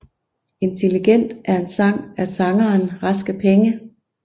Intelligent er en sang af sangeren Raske Penge